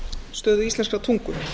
stöðu íslenskrar tungu